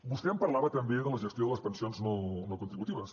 vostè em parlava també de la gestió de les pensions no contributives